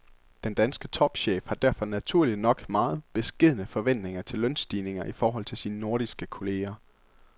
Den danske topchef har derfor naturligt nok meget beskedne forventninger til lønstigninger i forhold til sine nordiske kolleger.